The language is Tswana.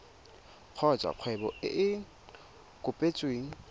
kgotsa kgwebo e e kopetsweng